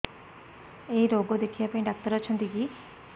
ଏଇ ରୋଗ ଦେଖିବା ପାଇଁ ଡ଼ାକ୍ତର ଅଛନ୍ତି କି